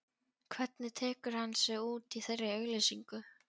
Hvernig tekur hann sig út í þeirri auglýsingu?